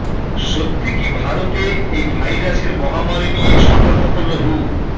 সত্যি কি ভারতে এই ভাইরাসের মহামারি নিয়ে সতর্ক করল হু